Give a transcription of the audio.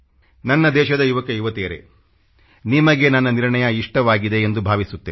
ನನ್ನ ದೇಶದ ಯುವಕಯುವತಿಯರೇ ನಿಮಗೆ ನನ್ನ ನಿರ್ಣಯ ಇಷ್ಟವಾಗಿದೆ ಎಂದು ಭಾವಿಸುತ್ತೇನೆ